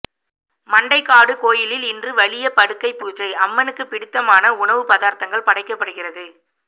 மண்டைக்காடு கோயிலில் இன்று வலிய படுக்கை பூஜை அம்மனுக்கு பிடித்தமான உணவு பதார்த்தங்கள் படைக்கப்படுகிறது